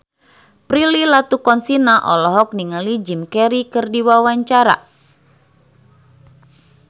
Prilly Latuconsina olohok ningali Jim Carey keur diwawancara